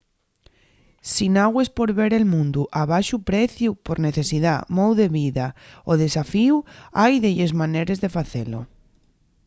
si nagües por ver el mundu a baxu preciu por necesidá mou de vida o desafíu hai delles maneres de facelo